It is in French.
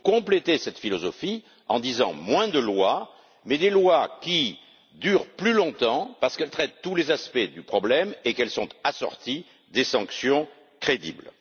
Il faut compléter cette philosophie en disant moins de lois, mais des lois qui durent plus longtemps, parce qu'elles traitent tous les aspects du problème et sont assorties de sanctions crédibles.